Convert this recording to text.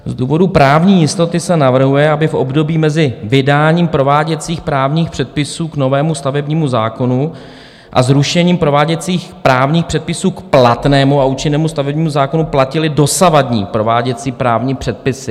Z důvodu právní jistoty se navrhuje, aby v období mezi vydáním prováděcích právních předpisů k novému stavebnímu zákonu a zrušením prováděcích právních předpisů k platnému a účinnému stavebnímu zákonu platily dosavadní prováděcí právní předpisy.